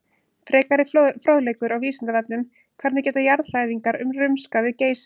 Frekari fróðleikur á Vísindavefnum: Hvernig geta jarðhræringar rumskað við Geysi?